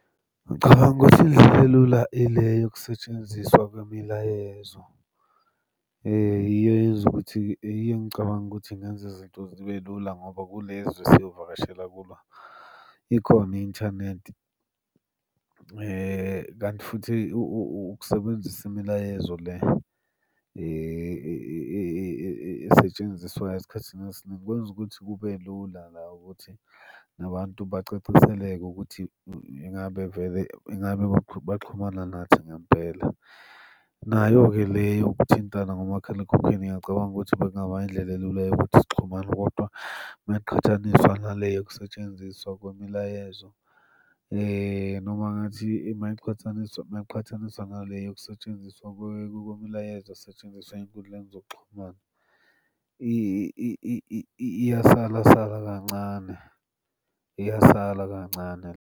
Ngicabanga ukuthi indlela elula ile yokusetshenziswa kwemilayezo. Yiyo eyenza ukuthi, iyo engicabanga ukuthi ingenza izinto zibe lula ngoba kulezi esiyovakashela kuba, ikhona i-inthanethi, kanti futhi ukusebenzisa imilayezo esetshenziswayo esikhathini esiningi kwenza ukuthi kube lula la ukuthi nabantu bacaciseleke ukuthi ingabe vele, ingabe baxhumana nathi ngempela. Nayo-ke le yokuthintana ngomakhalekhukhwini ngiyacabanga ukuthi bekungaba indlela elula yokuthi sixhumane, kodwa mayiqhathaniswa nale yokusetshenziswa kwemilayezo. Noma ngathi uma iqhathaniswa uma iqhathaniswa nale yokusetshenziswa kwemilayezo asetshenziswa ey'nkundleni zokuxhumana, iyasala sala kancane, iyasala kancane.